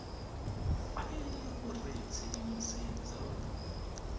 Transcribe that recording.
fa e le gore tshedimosetso